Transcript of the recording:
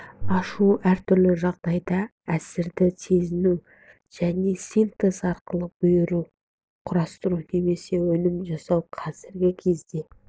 ашу әртүрлі жағдайда әсерді сезіну және синтез арқылы бұйым құрастыру немесе өнім жасау қазіргі кезде